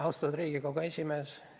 Austatud Riigikogu esimees!